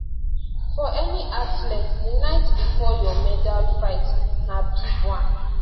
for any athlete di night bifor your medalfight na big one